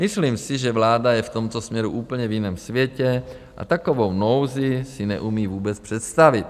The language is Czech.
Myslím si, že vláda je v tomto směru úplně v jiném světě a takovou nouzi si neumí vůbec představit.